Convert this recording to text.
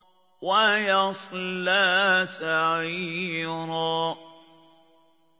وَيَصْلَىٰ سَعِيرًا